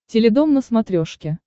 теледом на смотрешке